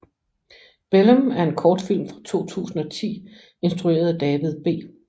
Bellum er en kortfilm fra 2010 instrueret af David B